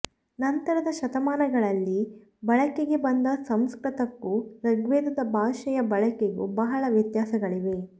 ನಂತರದ ಶತಮಾನಗಳಲ್ಲಿ ಬಳಕೆಗೆ ಬಂದ ಸಂಸ್ಕೃತಕ್ಕೂ ಋಗ್ವೇದದ ಭಾಷೆಯ ಬಳಕೆಗೂ ಬಹಳ ವ್ಯತಾಸಗಳಿವೆ